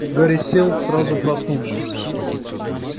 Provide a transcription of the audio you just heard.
гарри сел сразу проснувшись